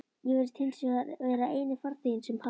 Ég virðist hinsvegar vera eini farþeginn sem hald